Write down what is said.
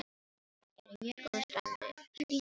Er í mjög góðu standi, frísk og falleg.